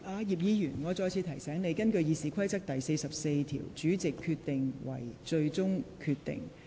葉議員，我再次提醒你。根據《議事規則》第44條，主席所作決定為最終決定。